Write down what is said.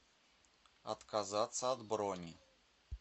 отказаться от брони